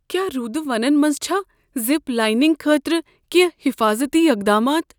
کیٛاہ روٗدٕ ونن منٛز چھا زپ لائننگ خٲطرٕ کینٛہہ حفٲظتی اقدامات؟